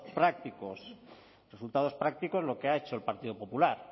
prácticos resultados prácticos lo que ha hecho el partido popular